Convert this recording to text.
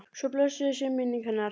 Svo blessuð sé minning hennar.